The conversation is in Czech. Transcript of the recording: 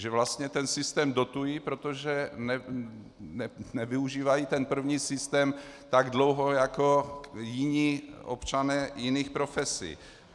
Že vlastně ten systém dotují, protože nevyužívají ten první systém tak dlouho jako jiní občané jiných profesí.